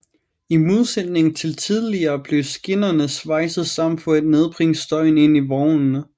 I modsætning til tidligere blev skinnerne svejset sammen for at nedbringe støjen inde i vognene